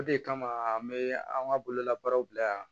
O de kama an bɛ an ka bololabaaraw bila yan